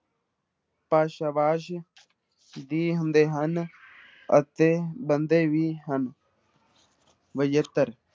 ਭਾਸ਼ਾ ਵਾਸ ਦੀ ਹੁੰਦੇ ਹਨ ਅਤੇ ਬਣਦੇ ਵੀ ਹਨ ਵਿਜੇਤਰ